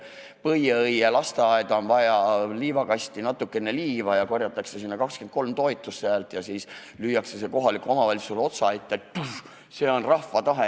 Näiteks Põieõie lasteaeda on vaja liivakasti natukene liiva, sellele korjatakse 23 toetushäält ja siis lüüakse see kohalikule omavalitsusele lauale – see on rahva tahe.